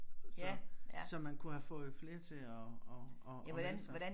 Så så man kunne have fået flere til at at at melde sig